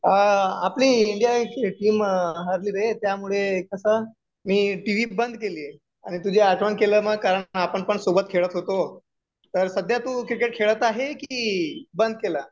आपली India team हारली रे त्यामुळे कसं मी टीव्ही बंद केलीये आणि तुझी आठवण केल्यामुळे कारण आपण पण सोबत खेळत होतो तर सद्ध्या तू क्रिकेट खेळत आहे की बंद केलं